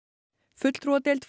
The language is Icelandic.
fulltrúadeild